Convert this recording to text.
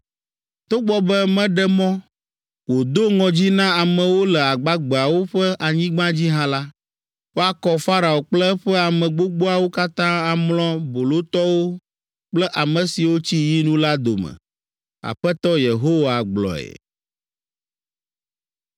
Togbɔ be meɖe mɔ, wòdo ŋɔdzi na amewo le agbagbeawo ƒe anyigba dzi hã la, woakɔ Farao kple eƒe ame gbogboawo katã amlɔ bolotɔwo kple ame siwo tsi yinu la dome.” Aƒetɔ Yehowa gblɔe.